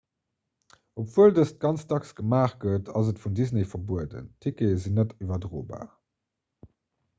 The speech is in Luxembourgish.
obwuel dëst ganz dacks gemaacht gëtt ass et vun disney verbueden d'ticketen sinn net iwwerdrobar